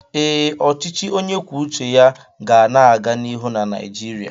Ee, Ọchịchị onye kwuo uche ya ga na-aga n'ihu na Naịjirịa.